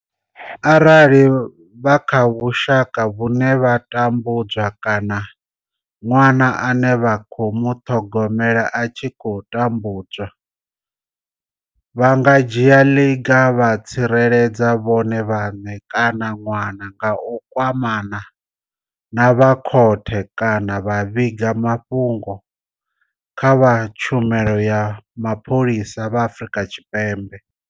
Arali vha kha vhusha ka vhune vha tambudzwa kana ṅwana ane vha khou muṱhogomela a tshi khou tambudzwa, vha nga dzhia ḽiga vha tsireledza vhone vhaṋe kana ṅwana nga u kwamana na vha khothe kana vha vhiga mafhungo kha vha Tshumelo ya Mapholisa vha Afrika Tshipembe.